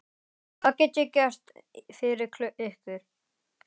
Hvað get ég gert fyrir ykkur?